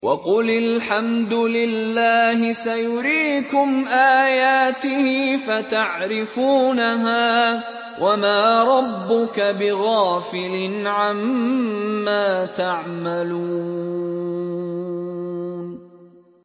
وَقُلِ الْحَمْدُ لِلَّهِ سَيُرِيكُمْ آيَاتِهِ فَتَعْرِفُونَهَا ۚ وَمَا رَبُّكَ بِغَافِلٍ عَمَّا تَعْمَلُونَ